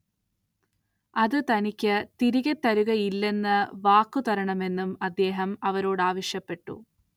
അത് തനിക്കു തിരികെ തരുകയില്ലെന്ന് വാക്കുതരണമെന്നും അദ്ദേഹം അവരോടാവശ്യപ്പെട്ടു.